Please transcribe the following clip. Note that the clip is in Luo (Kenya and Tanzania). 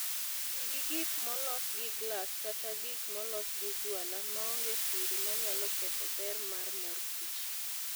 Ti gi gik molos gi glas kata gik molos gi juala maonge kwiri manyalo ketho ber mar mor kich